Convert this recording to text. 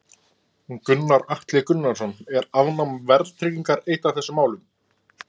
Gunnar Atli Gunnarsson: Er afnám verðtryggingar eitt af þessum málum?